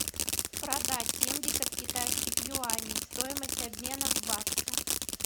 продать семьдесят китайских юаней стоимость обмена в баксы